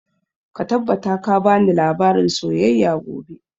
Ka tabbata ka bani labarin soyayya gobe!